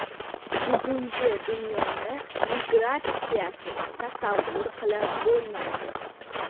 Bugungi dunyoni migratsiyasiz tasavvur qilib bo‘lmaydi.